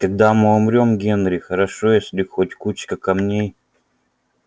когда мы умрём генри хорошо если хоть кучка камней